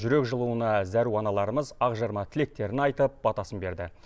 жүрек жылуына зәру аналарымыз ақ жарма тілектерін айтып батасын берді